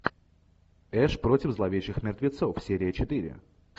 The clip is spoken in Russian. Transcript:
эш против зловещих мертвецов серия четыре